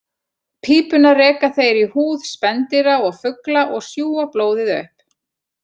Pípuna reka þeir í húð spendýra og fugla og sjúga blóðið upp.